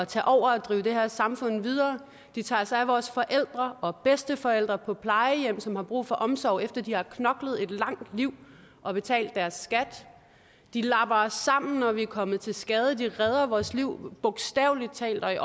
tage over og drive det her samfund videre de tager sig af vores forældre og bedsteforældre på plejehjem som har brug for omsorg efter at de har knoklet et langt liv og betalt deres skat de lapper os sammen når vi er kommet til skade de redder vores liv bogstavelig talt og i